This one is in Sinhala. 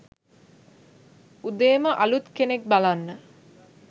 උදේම අලුත් කෙනෙක් බලන්න